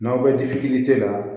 N'aw bɛ di fitiri la